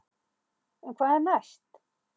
En hvað er næst?